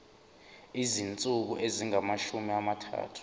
izinsuku ezingamashumi amathathu